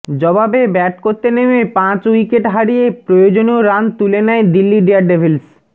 জবাবে ব্যাট করতে নেমে পাঁচ উইকেট হারিয়ে প্রয়োজনীয় রান তুলে নেয় দিল্লি ডেয়ারডেভিলস